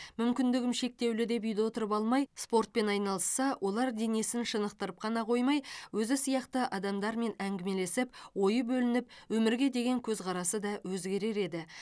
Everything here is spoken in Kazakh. мүмкіндігім шектеулі деп үйде отырып алмай спортпен айналысса олар денесін шынықтырып қана қоймай өзі сияқты адамдармен әңгімелесіп ойы бөлініп өмірге деген көзқарасы да өзгерер еді